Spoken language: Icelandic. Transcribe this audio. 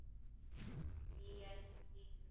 Hví ertu slíkur?